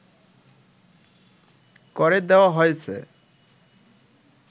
করে দেয়া হয়েছে